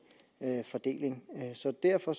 fordeling så derfor